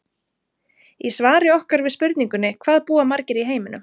Í svari okkar við spurningunni Hvað búa margir í heiminum?